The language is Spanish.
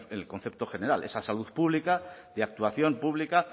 en el concepto general esa salud pública de actuación pública